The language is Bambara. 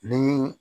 Ni